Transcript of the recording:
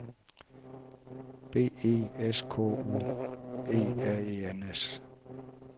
B E S K U E R E N S